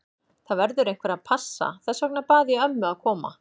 Það verður einhver að passa, þess vegna bað ég ömmu að koma.